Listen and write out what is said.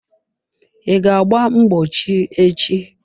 I ga agba mgbochi echi?